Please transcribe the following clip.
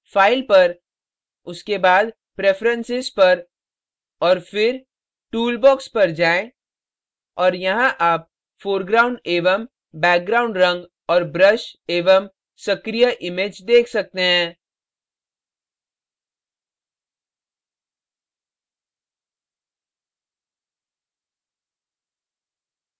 file file पर उसके बाद preferences प्रिफरेन्सस पर और फिर tool box टूल बॉक्स पर जाएँ और यहाँ आप foreground एवं background रंग और brush एवं सक्रिय image देख सकते हैं